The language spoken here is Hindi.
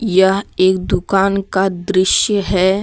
यह एक दुकान का दृश्य है।